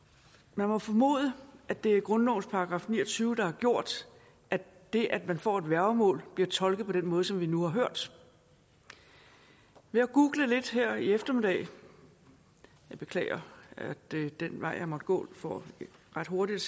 man må formode at det er grundlovens § ni og tyve der har gjort at det at få et værgemål bliver tolket den måde som vi nu har hørt ved at google lidt her i eftermiddag jeg beklager at det var den vej jeg måtte gå for ret hurtigt